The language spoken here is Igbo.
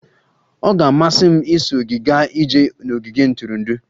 Ọ ga-amasị m iso gị gaa ije n'ogige ntụrụndụ.